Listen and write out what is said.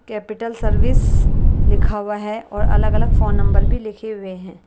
Capital service लिखा हुआ है और अलग अलग फोन नंबर भी लिखे हुए हैं।